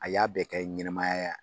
A y'a bɛɛ kɛ ɲɛnɛmaya